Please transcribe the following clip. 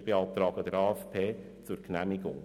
Wir beantragen den AFP zur Genehmigung.